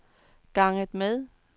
ganget med